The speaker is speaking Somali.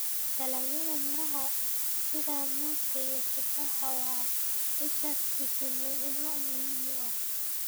Dalagyada miraha sida muuska iyo tufaaxa waa isha fiitamiinno muhiim ah.